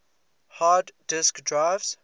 hard disk drives